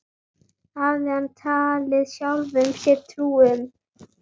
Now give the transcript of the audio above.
Það hafði hann talið sjálfum sér trú um.